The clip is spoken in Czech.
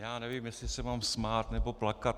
Já nevím, jestli se mám smát, nebo plakat.